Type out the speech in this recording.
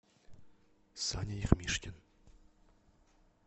саня ермишкин